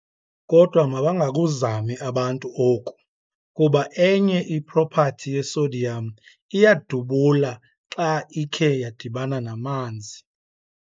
kodwa mabangakuzami abantu oku, kuba enye i-property ye-sodium iyadubula xa ikhe yadibana namanzi.